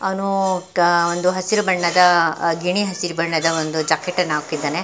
ಅವ್ನು ಅಹ್ಹ್ ಒಂದು ಹಸಿರು ಬಣ್ಣದ ಗಿಣಿ ಹಸಿರು ಬಣ್ಣದ ಒಂದು ಜಾಕೆಟ್ ಅನ್ನು ಹಾಕಿದ್ದಾನೆ .